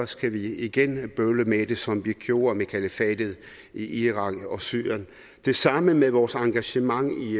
skal vi igen bøvle med det som vi gjorde det med kalifatet i irak og syrien det samme med vores engagement i